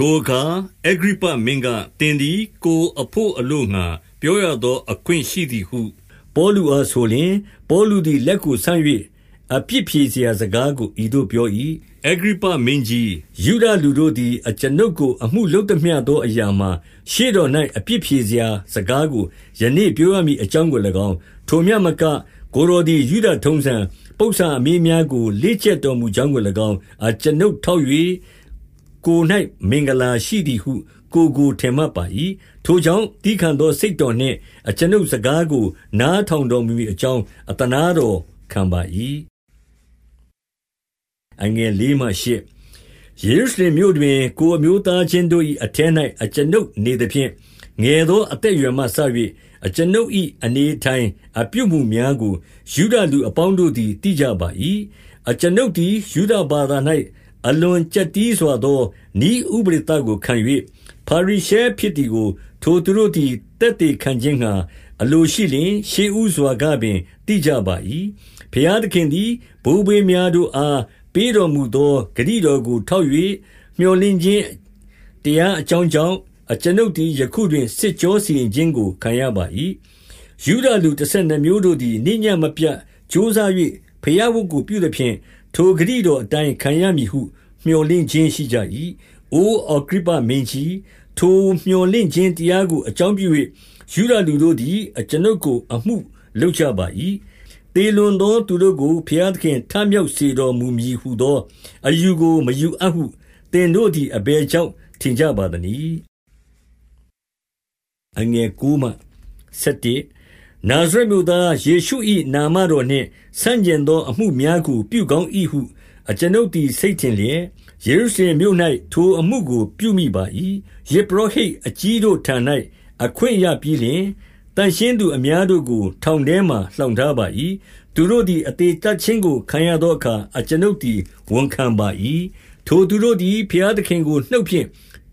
ထိုအခါအဂြိပ္ပမင်းက၊ သင်သည်ကိုယ်အဘို့ အလိုငှါ ပြောရသော အခွင့်ရှိသည်ဟု ပေါလုအားဆိုလျှင်၊ ပေါလုသည် လက်ကိုဆန့်၍ အပြစ်ဖြေရာစကားကို ဤသို့ပြော၏။ 2 အဂြိပ္ပမင်းကြီး၊ 3 ယုဒလူတို့သည် အကျွန်ုပ်ကိုအမှုလုပ်သမျှသောအရာမှာ၊ ရှေ့တော်၌အပြစ်ဖြေစရာစကားကို ယနေ့ ပြောရမည် အကြောင်းကို၎င်း၊ ထိုမျှမက ကိုယ်တော်သည် ယုဒထုံးတမ်း၊ ပုစ္ဆာအမေးများကိုလေ့ကျက်တော်မူ ကြောင်းကို၎င်း အကျွန်ုပ်ထောက်၍ ကိုယ်၌မင်္ဂလာရှိ သည်ဟု ကိုယ်ကိုထင်မှတ်ပါ၏။ ထိုကြောင့်သည်းခံသော စိတ်တော်နှင့် အကျွန်ုပ်စကားကို နားထောင်တော်မူမည် အကြောင်း အသနားတော်ခံပါ၏။ 4 ယေရုရှလင်မြို့တွင် ကိုယ်အမျိုးသားချင်းတို့၏ အထဲ၌ အကျွန်ုပ်နေသဖြင့်၊ ငယ်သောအသက်အရွယ်မှ စ၍၊ အကျွန်ုပ်၏အနေ အတိုင်းအပြုအမူများကို ယုဒလူ အပေါင်းတို့သည်သိကြပါ၏။ 5 အကျွန်ုပ်သည် ယုဒဘာသာ၌ အလွန်ကျပ်တည်းစွာသော နည်းဥပဒေသကိုခံ၍၊ ဖာရိရှဲဖြစ်သည်ကို ထိုသူတို့သည် သက်သေခံခြင်းငှါ အလိုရှိလျှင် ရှေးဦးစွာကပင် သိကြပါ၏။ 6 ဘုရားသခင်သည် ဘိုးဘေးများတို့အား ပေးတော်မူသော ဂတိတော်ကိုထောက်၍ မြော်လင့်ခြင်း တရားအကြောင်းကြောင့်၊ အကျွန်ုပ်သည် ယခုတွင် စစ်ကြောစီရင်ခြင်းကို ခံရပါ၏။ 7 ယုဒလူတဆယ်နှစ်မျိုးတို့သည် နေ့ညဉ့်မပြတ် ကြိုးစား၍ ဘုရားဝတ်ပြုသဖြင့်၊ ထိုဂတိတော်အတိုင်းခံရ မည်ဟု မြော်လင့်ခြင်းရှိကြ၏။ အိုအဂြိပ္ပမင်းကြီး၊ ထိုမြော်လင့်ခြင်းတရားကို အကြောင်းပြု၍ ယုဒလူတို့ သည် အကျွန်ုပ်ကို အမှုလုပ်ကြပါ၏။ 8 သေလွန်သောသူတို့ကို ဘုရားသခင် ထမြောက် စေတော်မူမည်ဟူသော အယူကိုမယူအပ်ဟု သင်တို့သည် အဘယ်ကြောင့် ထင်ကြပါသနည်း။ 9 နာဇရက်မြို့သား ယေရှု၏ နာမတော်နှင့် ဆန့်ကျင်သော အမှုများကို ပြုကောင်း၏ဟု အကျွန်ုပ်သည် စိတ်ထင်လျက်၊ 10 ယေရုရှလင်မြို့၌ ထိုအမှုကို ပြုမိပါ၏။ ယဇ်ပုရောဟိတ်အကြီးတို့ထံ၌ အခွင့်ရပြီးလျှင်၊ သန့်ရှင်းသူ အများတို့ကို ထောင်ထဲမှာ လှောင်ထားပါ၏။ သူတို့သည် အသေသတ်ခြင်းကို ခံရသောအခါ အကျွန်ုပ်သည် ဝန်ခံပါ၏။ 11 ထိုသူတို့သည် ဘုရားသခင်ကို နှုတ်ဖြင့်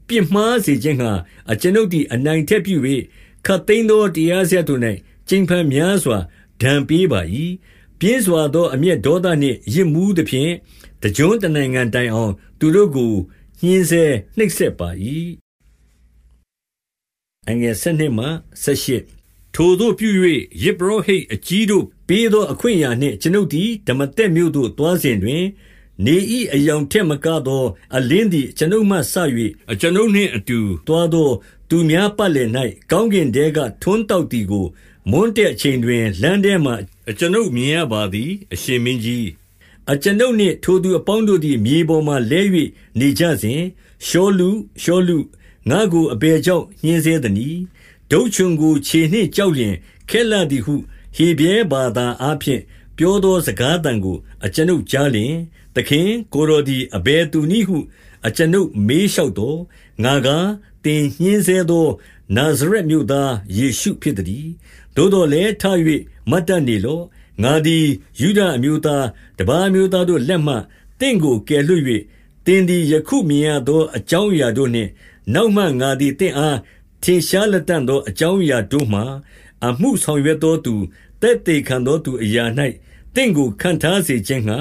ပြစ်မှားစေခြင်းငှါ၊ အကျွန်ုပ်သည် အနိုင်အထက်ပြု၍၊ ခပ်သိမ်းသောတရားစရပ်တို့၌ ကြိမ်ဖန်များစွာ ဒဏ်ပေးပါ၏။ ပြင်းစွာသော အမျက်ဒေါသနှင့် ယစ်မူးသဖြင့်၊ တကျွန်းတနိုင်ငံတိုင်အောင်သူတို့ကို ညှဉ်းဆဲနိုပ်စက်ပါ၏။ 12 ထိုသို့ပြု၍ ယဇ်ပုရောဟိတ်အကြီးတို့ပေးသော အခွင့်အရာနှင့် အကျွန်ုပ်သည် ဒမာသက်မြို့သို့ သွားစဉ် တွင်၊ 13 နေ၏အရောင်ထက်မကသော အလင်းသည် အကျွန်ုပ်မှစ၍ အကျွန်ုပ်နှင့်အတူ သွားသောသူများ ပတ်လည်၌ ကောင်းကင်ထဲက ထွန်းတောက်သည်ကို၊ မွန်းတည့်ချိန်တွင် လမ်းထဲမှာ အကျွန်ုပ်မြင်ရပါသည်။ အရှင်မင်းကြီး။ 14 အကျွန်ုပ်နှင့် ထိုသူအပေါင်းတို့သည် မြေပေါ်မှာ လဲ၍ နေကြစဉ်၊ ရှောလု၊ ရှောလု၊ ငါ့ကိုအဘယ်ကြောင့် ညှဉ်းဆဲသနည်း။ ဒုတ်ချွန်ကို ခြေနှင့်ကျော်လျှင် ခက်လှသည်ဟု ဟေဗြဲဘာသာအားဖြင့် ပြောသော စကားသံကို အကျွန်ုပ်ကြားလျှင်၊ 15 သခင်ကိုယ်တော်သည် အဘယ်သူနည်းဟု အကျွန်ုပ် မေးလျှောက်သော်၊ ငါကား၊ သင်ညှဉ်းဆဲသော နာဇရက်မြို့သား ယေရှုဖြစ်သတည်း။ 16 သို့သော်လည်း၊ ထ၍မတ်တတ်နေလော့။ 17 ငါသည်ယုဒအမျိုးသား၊ တပါးအမျိုးသားတို့ လက်မှ သင့်ကိုကယ်လွှတ်၍၊ 18 သင်သည် ယခုမြင်ရသောအကြောင်းအရာတို့နှင့်၊ နောက်မှ ငါသည်သင့်အား ထင်ရှားလတံ့သော အကြောင်းအရာတို့မှာ၊ အမှုဆောင်ရွက်သောသူ၊ သက်သေခံသောသူအရာ၌ သင့်ကိုခန့်ထားစေခြင်းငှါ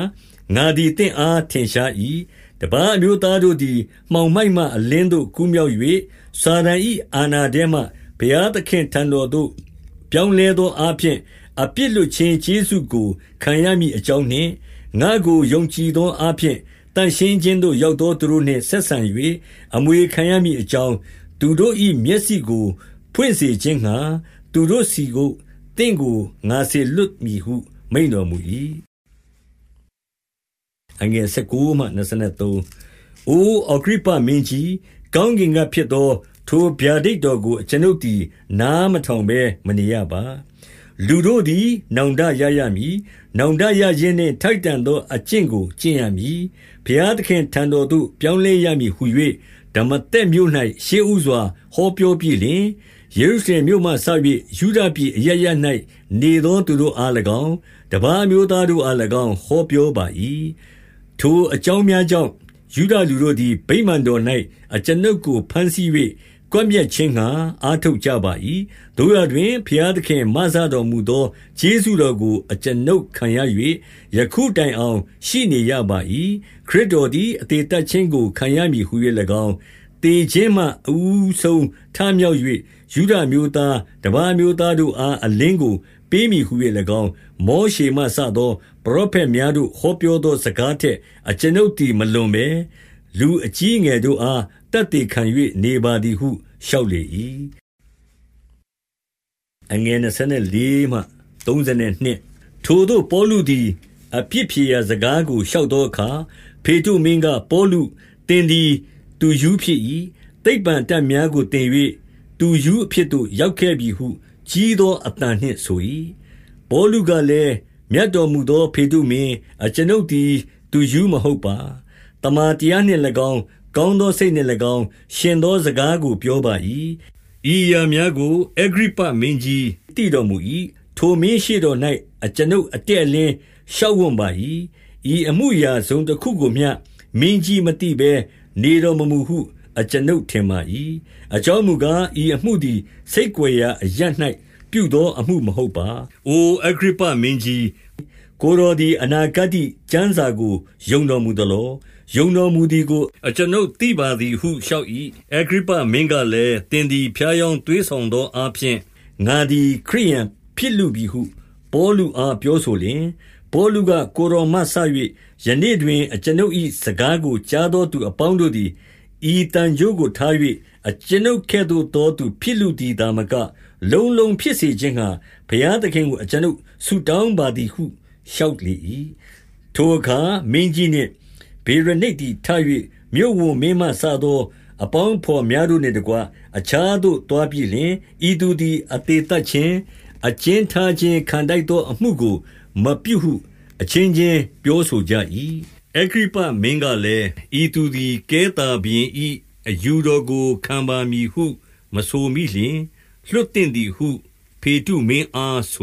ငါသည်သင့်အား ထင်ရှား၏။ တပါးအမျိုးသားတို့သည် မှောင်မိုက်မှ အလင်းသို့ ကူးမြောက်၍၊ စာတန်၏အာဏာထဲမှ ဘုရားသခင့် အထံတော်သို့ ပြောင်းလဲသောအားဖြင့် အပြစ်လွှတ်ခြင်း ကျေးဇူးကို ခံရမည်အကြောင်းနှင့်၊ ငါ့ကို ယုံကြည်သော အားဖြင့် သန့်ရှင်းခြင်းသို့ ရောက်သောသူတို့နှင့် ဆက်ဆံ ၍ အမွေခံရမည်အကြောင်း၊ သူတို့၏မျက်စိကိုဖွင့်စေ ခြင်းငှါသူတို့ဆီသို့ သင့်ကို ငါစေလွှတ်မည်ဟု မိန့်တော် မူ၏။ 19 အိုအဂြိပ္ပမင်းကြီး၊ ကောင်းကင်ကဖြစ်သော ထိုဗျာဒိတ်တော်ကို အကျွန်ုပ်သည် နားမထောင်ဘဲ မနေရပါ။ 20 လူတို့သည် နောင်တရရမည်။ နောင်တရခြင်း နှင့်ထိုက်တန်သော အကျင့်ကို ကျင့်ရမည်။ ဘုရားသခင် အထံတော်သို့ ပြောင်းလဲရမည်ဟူ၍ ဒမာသက်မြို့၌ ရှေ့ဦးစွာ ဟောပြောပြီးလျှင်၊ ယေရုရှလင်မြို့မှစ၍ ယုဒပြည်အရပ်ရပ်၌နေသောသူတို့အား၎င်း၊ တပါးအမျိုးသား၊ တို့အား၎င်း၊ ဟောပြောပါ၏။ 21 ထိုအကြောင်းများကြောင့်၊ ယုဒလူတို့သည် ဗိမာန်တော်၌ အကျွန်ုပ်ကိုဘမ်းဆီး၍ ကွပ်မျက်ခြင်းငှါ အားထုတ်ကြပါ၏။ 22 သို့ရာတွင်ဘုရားသခင် မစတော်မူသော ကျေးဇူးတော်ကို အကျွန်ုပ်ခံရ၍၊ 23 ယခုတိုင်အောင်ရှိနေရပါ၏။ ခရစ်တော်သည် အသေသတ်ခြင်းကိုခံရမည်ဟူ၍၎င်း၊ သေခြင်းမှ အဦးဆုံး ထမြောက်၍ ယုဒအမျိုးသား၊ တပါးအမျိုးသားတို့အား အလင်းကိုပေးမည်ဟူ၍၎င်း၊ မောရှေမှစသော ပရောဖက်များတို့ ဟောပြောသောစကားထက် အကျွန်ုပ်သည် မလွန်ဘဲ၊ လူအကြီးအငယ်တို့အား သက်သေခံ၍ နေပါသည်ဟု လျှောက်လေ၏။ 24 ထိုသို့ပေါလုသည် အပြစ်ဖြေရာစကားကို လျှောက်သောအခါ၊ ဖေတ္တုမင်းက၊ ပေါလု၊ သင်သည် သူရူးဖြစ်၏။ သိပ္ပံအတတ်များကိုသင်၍ သူရူးအဖြစ်သို့ ရောက်ခဲ့ပြီဟုကြီးသော အသံနှင့်ဆို၏။ 25 ပေါလုကလည်း၊ မြတ်တော်မူသောဖေတ္တမင်း၊ အကျွန်ုပ်သည် သူရူးမဟုတ်ပါ။ သမ္မာတရားနှင့်၎င်း၊ ကောင်းသောစိတ်နှင့်၎င်း၊ ယှဉ်သော စကားကို ပြောပါ၏။ 26 ဤအရာများကိုအဂြိပ္ပမင်းကြီး သိတော်မူ၏။ ထိုမင်းရှေ့တော်၌ အကျွန်ုပ်အတည့်အလင်း လျှောက်ဝံ့ ပါ၏။ ဤအမူအရာ တစုံတခုကိုမျှ မင်းကြီးမသိဘဲ နေတော်မမူဟုအကျွန်ုပ်ထင်ပါ၏။ အကြောင်းမူကား၊ ဤအမှုသည် ဆိတ်ကွယ်ရာအရပ်၌ ပြုသောအမှု မဟုတ်ပါ။ 27 အိုအဂြိပ္ပမင်းကြီး၊ ကိုယ်တော်သည် အနာဂတ္တိကျမ်းစာကို ယုံတော်မူသလော။ ယုံတော်မူသည်ကို အကျွန်ုပ်သိပါသည်ဟု လျှောက်၏။ 28 အဂြိပ္ပမင်းကလည်း၊ သင်သည်ဖြားယောင်း သွေးဆောင်သောအားဖြင့်၊ ငါသည်ခရစ်ယာန်ဖြစ်လှပြီဟု ပေါလုအား ပြောဆိုလျှင်၊ 29 ပေါလုက၊ ကိုယ်တော်မှစ၍ ယနေ့တွင် အကျွန်ုပ်၏စကားကို ကြားသောသူအပေါင်းတို့သည်၊ ဤသံကြိုးကိုထား၍ အကျွန်ုပ်ကဲ့သို့သောသူဖြစ်လုသည် သာမက လုံးလုံးဖြစ်စေခြင်းငှါ ဘုရားသခင်ကို အကျွန်ုပ် ဆုတောင်းပါသည်ဟု လျှောက်လေ၏။ 30 ထိုအခါမင်းကြီးနှင့်ဗေရနိတ်သည် ထ၍ မြို့ဝန် မင်းမှစသော အပေါင်းအဘော်များတို့နှင့်တကွ၊ 31 အခြားသို့သွားပြီလျှင်၊ ဤသူသည် အသေသတ်ခြင်း၊ အကျဉ်းထားခြင်းခံထိုက်သောအမှုကို မပြုဟု အချင်းချင်းပြောဆိုကြ၏။ 32 အဂြိပ္ပ မင်းကလည်း၊ ဤသူသည်ကဲသော ဘုရင် ၏ အယူတော်ကို ခံပါမည်ဟု မဆိုမိလျှင် လွှတ်သင့်သည်ဟု ဖေတ္တုမင်းအားဆို